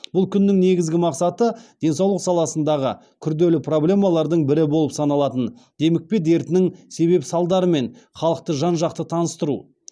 бұл күннің негізгі мақсаты денсаулық саласындағы күрделі проблемалардың бірі болып саналатын демікпе дертінің себеп салдарларымен халықты жан жақты таныстыру